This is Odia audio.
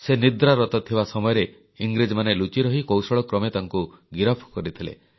ସେ ନିଦ୍ରାରତ ଥିବା ସମୟରେ ଇଂରେଜମାନେ ଲୁଚିରହି କୌଶଳକ୍ରମେ ତାଙ୍କୁ ଗିରଫ କରିଥିଲେ